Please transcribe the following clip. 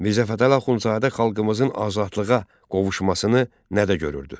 Mirzə Fətəli Axundzadə xalqımızın azadlığa qovuşmasını nədə görürdü?